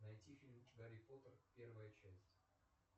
найти фильм гарри поттер первая часть